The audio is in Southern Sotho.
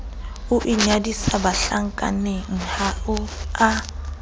o inyadisa bahlankaneng ha a